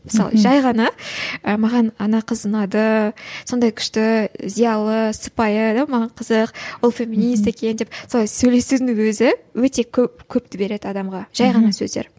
мысалы жай ғана і маған ана қыз ұнады сондай күшті зиялы сыпайы иә маған қызық ол феминист екен деп солай сөйлесудің өзі өте көп көпті береді адамға жай ғана сөздер